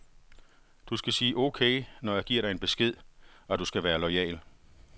Du skal sige okay, når jeg giver dig en besked, og du skal være loyal.